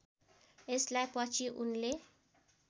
यसलाई पछि उनले